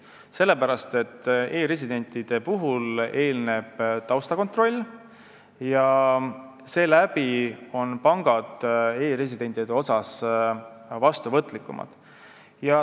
E-residendiks saamisele eelneb taustakontroll ja seepärast on pangad nende suhtes vastuvõtlikumad.